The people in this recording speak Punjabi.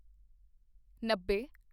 ਨੱਬੇ